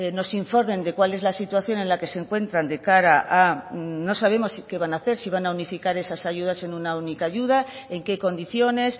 nos informen de cuál es la situación en la que se encuentran de cara a no sabemos qué van hacer si van a unificar esas ayudas en una única ayuda en qué condiciones